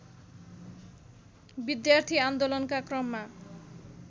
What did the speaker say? विद्यार्थी आन्दोलनका क्रममा